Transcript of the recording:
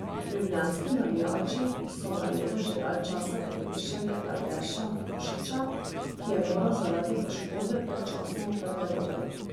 Ljubljanski navijači so na ledu že dalj časa pogrešali Aleša Mušiča, ki je moral zaradi poškodbe predčasno v garderobo.